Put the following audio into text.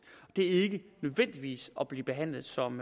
det er ikke nødvendigvis at blive behandlet som